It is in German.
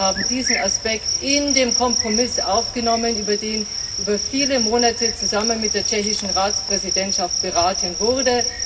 Wir haben diesen Aspekt in den Kompromiss aufgenommen, über den über viele Monate zusammen mit der tschechischen Ratspräsidentschaft beraten wurde.